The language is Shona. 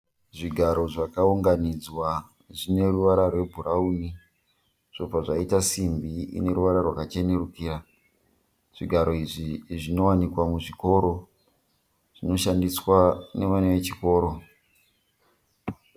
Zvigaro zvakaunganidzwa. Zvine ruvara rwebhurawuni zvobva zvaita simbi ine ruvara rwakachenerukira. Zvigaro izvi zvinowanikwa muzvikoro. Zvinoshandiswa nevana vechikoro.